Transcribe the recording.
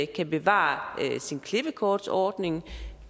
kan bevare sin klippekortsordning